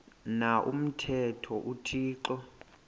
na umthetho uthixo